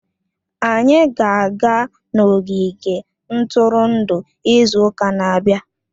Anyị ga-aga n'ogige ntụrụndụ izu ụka na-abịa